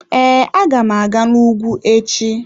Ee, aga m aga n'ugwu echi.